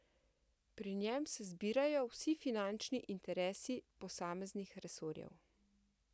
Pri njem se zbirajo vsi finančni interesi posameznih resorjev.